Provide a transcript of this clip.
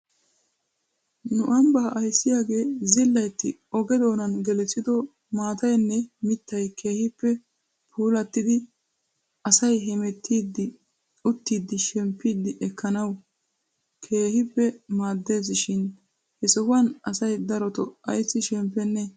Nu ambbaa ayssiyaagee zillaytti oge doonan gelissido maataynne mittay keehippe puulettidi asay hemettiiddi uttidi shemppi ekkanawukka keehippe maaddes shin he sohuwan asay daroto ayssi shemppenee?